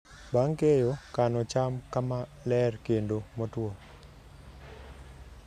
Bang' keyo, kano cham kama ler kendo motwo.